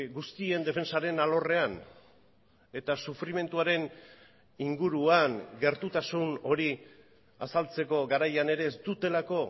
guztien defentsaren alorrean eta sufrimenduaren inguruan gertutasun hori azaltzeko garaian ere ez dutelako